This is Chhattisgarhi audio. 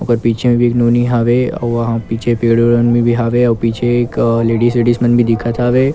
ओकर पीछे मे भी एक नोनी हवे वहाँ पीछे पेड़-वेड मन भी हवे अउ पीछे एक लेडीस वेडिस मन भी दिखत हवे ।